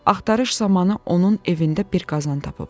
Axtarış zamanı onun evində bir qazan tapıblar.